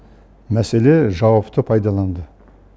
мәселе жауапты пайдаланды